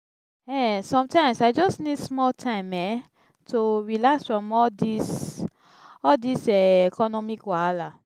um sometimes i just need small time um to relax from all dis all dis um economic wahala.